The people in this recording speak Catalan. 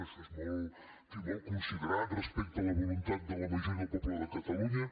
això és en fi molt considerat respecte a la voluntat de la majoria del poble de catalunya